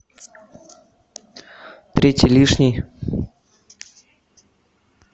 третий лишний